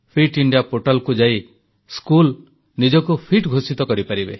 fit India ପୋର୍ଟାଲକୁ ଯାଇ school ନିଜକୁ ଫିଟ ଘୋଷିତ କରିପାରିବେ